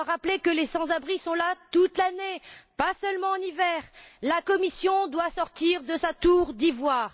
Je dois rappeler que les sans abris sont là toute l'année, pas seulement en hiver. La Commission doit sortir de sa tour d'ivoire.